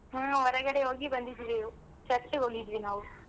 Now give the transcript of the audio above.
ಹ್ಮ್ ಹೊರಗಡೆ ಹೋಗಿ ಬಂದಿದ್ದೀವಿ church ಗ್ ಹೋಗಿದ್ವಿ ನಾವು.